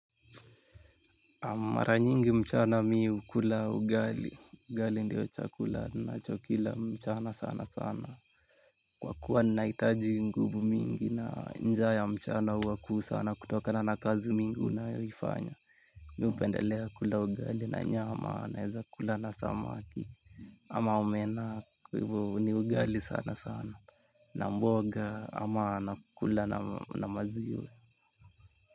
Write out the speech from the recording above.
Mara nyingi mchana mimi hukula ugali, ugali ndiyo chakula nacho kila mchana sana sana. Kwa kuwa ninahitaji nguvu mingi na njaa ya mchana huwa kuu sana kutokana na kazi mingi unayoifanya. Mimi hupendelea kula ugali na nyama naeza kula na samaki. Ama omena kwa hivyo ni ugali sana sana na mboga ama anakula na maziwa.